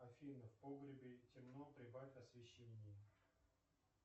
афина в погребе темно прибавь освещение